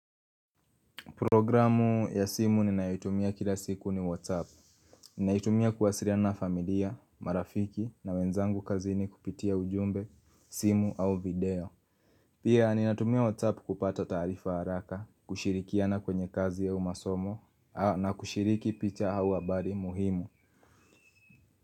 Programu ya simu ninayoitumia kila siku ni Whatsapp Ninaitumia kuwasiliana na familia, marafiki na wenzangu kazini kupitia ujumbe, simu au video Pia ninatumia Whatsapp kupata taarifa haraka, kushirikiana kwenye kazi au masomo na kushiriki picha au habari muhimu.